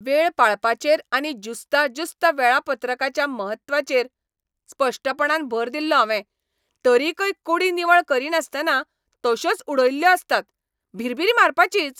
वेळ पाळपाचेर आनी ज्युस्ताजुस्त वेळापत्रकाच्या म्हत्वाचेर स्पश्टपणान भर दिल्लो हांवें. तरीकय कूडी निवळ करीनासतना तशोच उडयल्ल्यो आसतात. भिरभिरी मारपाचीच!